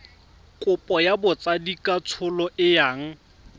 kopo ya botsadikatsholo e yang